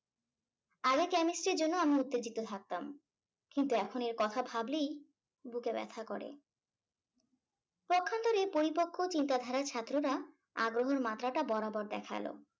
আগে chemistry এর জন্য আমি উত্তেজিত থাকতাম কিন্তু এখন এর কথা ভাবলেই বুকে ব্যথা করে। পক্ষান্তরে পরিপক্ক চিন্তাধারার ছাত্ররা আগ্রহর মাত্রাটা বরাবর দেখালো।